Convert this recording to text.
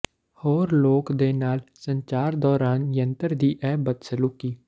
ਹੋਰ ਲੋਕ ਦੇ ਨਾਲ ਸੰਚਾਰ ਦੌਰਾਨ ਯੰਤਰ ਦੀ ਇਹ ਬਦਸਲੂਕੀ